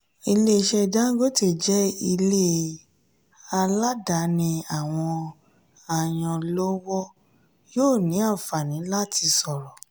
ilé iṣẹ́ dangote jẹ́ ilé aládàáni àwọn ayanlọ́wọ́ yóò ní àǹfààní láti sọ̀rọ̀.